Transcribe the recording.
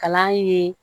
Kalan ye